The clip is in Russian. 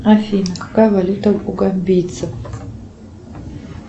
афина какая валюта у гамбийцев